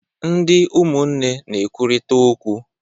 Ndị umụnne na-ekwurịta okwu.